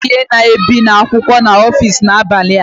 A ga-enyefe ihe na-ebi akwụkwọ n'ọfịs n'abalị a